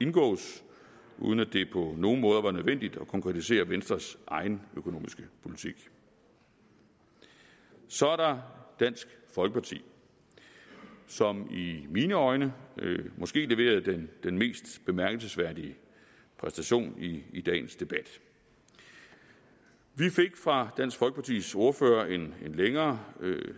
indgås uden at det på nogen måder var nødvendigt at konkretisere venstres egen økonomiske politik så er der dansk folkeparti som i mine øjne måske leverede den mest bemærkelsesværdige præstation i i dagens debat vi fik fra dansk folkepartis ordfører en længere